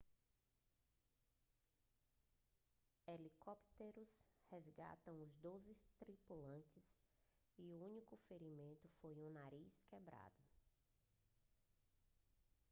helicópteros resgataram os doze tripulantes e o único ferimento foi um nariz quebrado